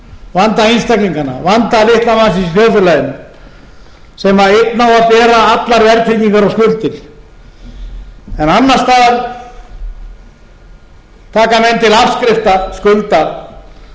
vanda litla mannsins í þjóðfélaginu sem einn á að bera allar verðtryggingar og skuldir annars staðar taka menn til afskrifta skulda frá gögn